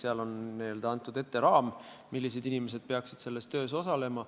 Seal on ette antud raam, millised inimesed peaksid selles töös osalema.